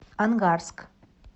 ангарск